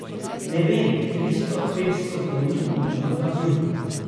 Ne vem, tristo, petsto konjev močan kamion.